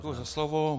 Děkuji za slovo.